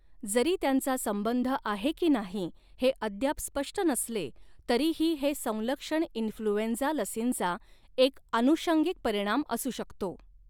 जरी त्यांचा संबंध आहे की नाही हे अद्याप स्पष्ट नसले तरीही हे संलक्षण इन्फ्लुएंझा लसींचा एक आनुषंगिक परिणाम असू शकतो.